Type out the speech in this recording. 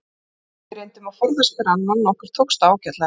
Við reyndum að forðast hvor annan og okkur tókst það ágætlega.